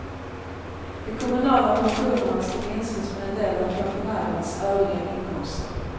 De kommunala pensionerna ska minskas med en del av pensionärens övriga inkomster.